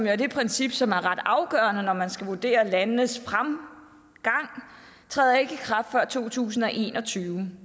er det princip som er ret afgørende når man skal vurdere landenes fremgang træder ikke i kraft før to tusind og en og tyve